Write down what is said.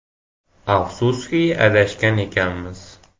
Afsuski adashgan ekanmiz.